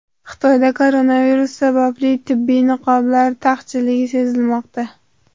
Xitoyda koronavirus sababli tibbiy niqoblar taqchilligi sezilmoqda.